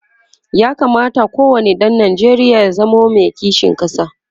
ya kamata ko wani ɗan Nijeriya ya zamo Mai kishin ƙasa